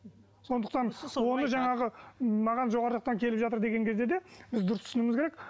сондықтан оны жаңағы маған жоғары жақтан келіп жатыр деген кезде де біз дұрыс түсінуіміз керек